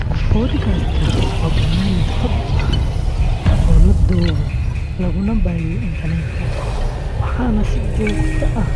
Podcastku waa barnaamij cod ah oo la duubo laguna baahiyo internet-ka, waxaana si joogto ah